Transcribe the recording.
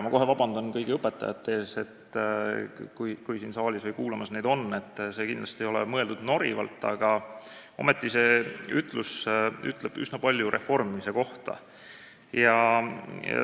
Ma palun vabandust kõigilt õpetajatelt, kui neid siin saalis või istungit kuulamas on, sest see ei ole kindlasti mõeldud norivalt, aga ometi ütleb see üsna palju reformimise kohta.